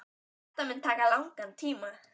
Þetta mun taka langan tíma.